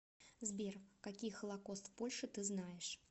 сбер какие холокост в польше ты знаешь